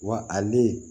Wa ale